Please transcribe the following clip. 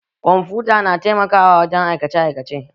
Kwamfuta tana taimakawa wajen aikace aikace